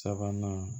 Sabanan